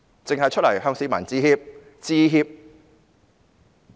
只是出來向市民致歉。